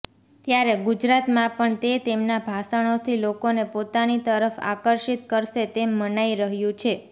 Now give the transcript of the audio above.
ત્યારે ગુજરાતમાં પણ તે તેમના ભાષણોથી લોકોને પોતાની તરફ આકર્ષિત કરશે તેમ મનાઇ રહ્યું છે